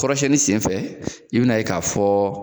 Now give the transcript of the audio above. Kɔrɔsiyɛnni senfɛ i bina ye k'a fɔ